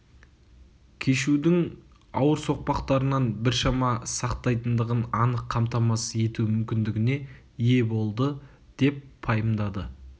кешудің ауыр соқпақтарынан біршама сақтайтындығын анық қамтамасыз ету мүмкіндігіне ие болды деп пайымдайды